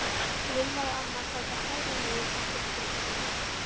Lilla og amma sátu hægra megin á kirkjuloftinu.